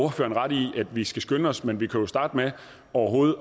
ret i at vi skal skynde os men vi kunne jo starte med overhovedet